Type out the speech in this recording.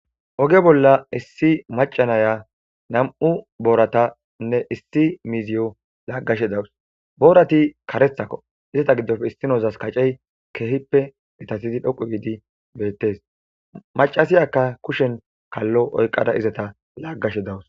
Oge bolla issi macanaya nam7u booratanne issi miziyo laaggashe dawus boorati karethakko izata giddopfe issinozas kacey keehippe etasidi dhoqu biidi beettes macasiyaka kushen kallo oyqada izata laaggashe dawus.